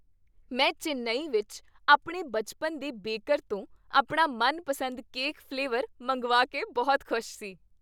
ਮੈਂ ਚੇਨੱਈ ਵਿੱਚ ਆਪਣੇ ਬਚਪਨ ਦੇ ਬੇਕਰ ਤੋਂ ਆਪਣਾ ਮਨਪਸੰਦ ਕੇਕ ਫ਼ਲੇਵਰ ਮੰਗਵਾ ਕੇ ਬਹੁਤ ਖੁਸ਼ ਸੀ।